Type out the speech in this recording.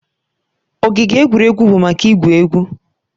Ogige egwuregwu bụ maka igwu egwu.